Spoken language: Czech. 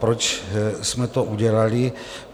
Proč jsme to udělali?